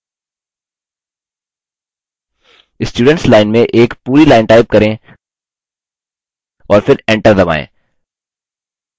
students line में एक पूरी line टाइप करें और फिर enter दबाएँ